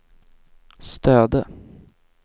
Stöde